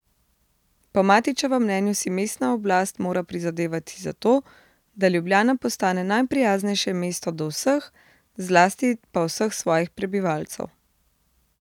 Po Matićevem mnenju si mestna oblast mora prizadevati za to, da Ljubljana postane najprijaznejše mesto do vseh, zlasti pa vseh svojih prebivalcev.